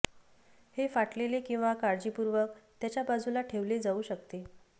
हे फाटलेले किंवा काळजीपूर्वक त्याच्या बाजूला ठेवले जाऊ शकते